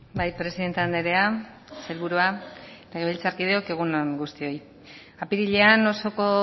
bai presidente andrea sailburua legebiltzarkideok egun on guztioi apirilean osoko